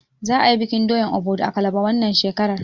Za a yi bikin doyan Obudu a kalaba wannan shekarar.